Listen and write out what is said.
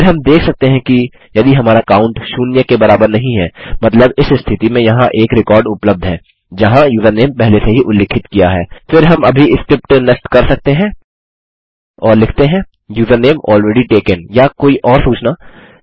फिर हम देख सकते हैं यदि हमारा काउंट शून्य के बराबर नहीं है मतलब इस स्थिति में यहाँ एक रिकॉर्ड उपलब्ध है जहाँ यूज़रनेम पहले से ही उल्लिखित किया है फिर हम अभी स्क्रिप्ट नष्ट कर सकते हैं और लिखते हैं यूजरनेम अलरेडी तकें या कोई और सूचना